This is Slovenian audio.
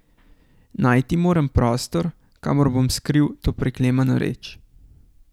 Najti moram prostor, kamor bom skril to preklemano reč.